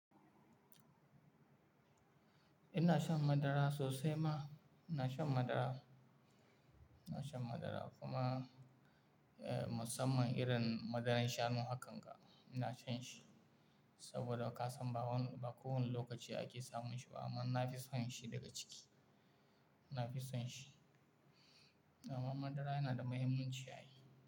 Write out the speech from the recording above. Ina shan madara sosai ma. Ina shan madara, ina shan madara kuma, eh, musamman irin madaran shanu hakan ga, ina shan shi saboda ka san ba wani, ba kowane lokaci ake samun shi ba amma na fi son shi daga ciki. Na fi son shi. Amma madara yana da muhimmanci a yi.